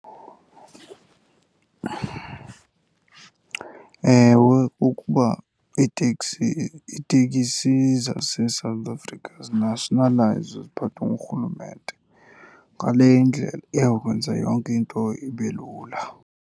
Ewe, kukuba iiteksi, iiteksi zaseSouth Africa zinashinalayizwe ziphathwe ngurhulumente. Ngaleyo indlela iyawukwenza yonke into ibe lula.